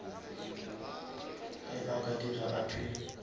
ge a ka dira appeal